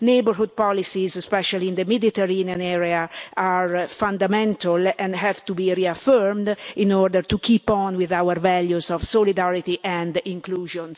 neighbourhood policies, especially in the Mediterranean area, are fundamental and have to be reaffirmed in order to keep on with our values of solidarity and inclusion.